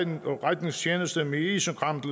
redningstjeneste med isenkram